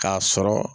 K'a sɔrɔ